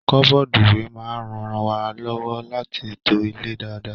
Kọbọ́dú ìwé máa n rán wà lọwọ láti to ilé dáadáa.